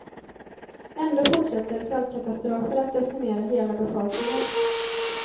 Ändå fortsätter svältkatastrofer att decimera hela befolkningar.